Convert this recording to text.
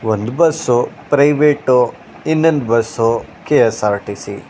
ಒಂದು bus private ಇನ್ನೊಂದು bus KSRTC .